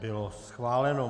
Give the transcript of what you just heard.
Bylo schváleno.